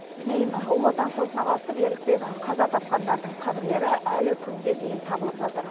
зейін ұлы отан соғысына қатысып ерлікпен қаза тапқандардың қабірлері әлі күнге дейін табылып жатыр